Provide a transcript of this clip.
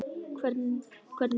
Hvernig ertu?